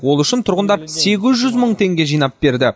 ол үшін тұрғындар сегіз жүз мың теңге жинап берді